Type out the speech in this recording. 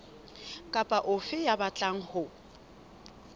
kapa ofe ya batlang ho